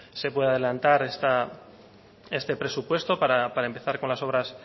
se puede adelantar este presupuesto para empezar con las obras